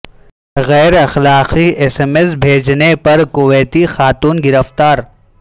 غیر اخلاقی S M S بھیجنے پر کویتی خاتون گرفتار